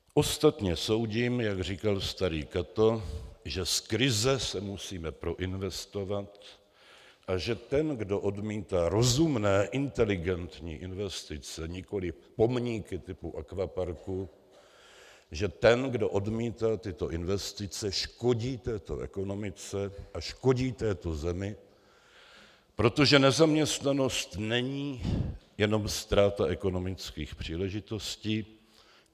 Ostatně soudím, jak říkal starý Cato, že z krize se musíme proinvestovat a že ten, kdo odmítá rozumné inteligentní investice, nikoliv pomníky typu akvaparků, že ten, kdo odmítá tyto investice, škodí této ekonomice a škodí této zemi, protože nezaměstnanost není jenom ztráta ekonomických příležitostí.